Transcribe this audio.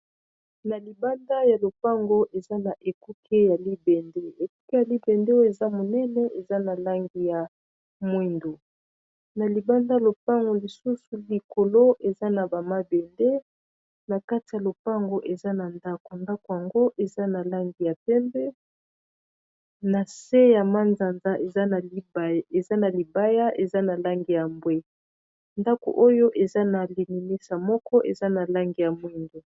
Na libanda ya lopango eza na ekuke ya libende ekuke ya libende oyo eza monene eza na lange ya mwindo na libanda y lopango lisusu likolo eza na bamabende na kati ya lopango eza na ndako ndako yango eza na lange ya pembe na se ya manzanza eza na libaya eza na lange ya mbwe ndako oyo eza na linimisa moko eza na lange ya mwindo